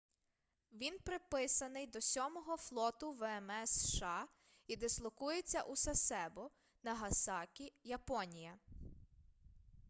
він приписаний до сьомого флоту вмс сша і дислокується у сасебо нагасакі японія